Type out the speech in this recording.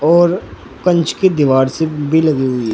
और कंच की दीवार सी लगी हुई है।